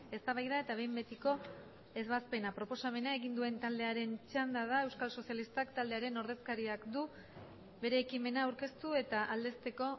eztabaida eta behin betiko ebazpena proposamena egin duen taldearen txanda da euskal sozialistak taldearen ordezkariak du bere ekimena aurkeztu eta aldezteko